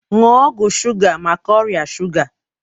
Nuo ọgwụ shuga maka ọrịa shuga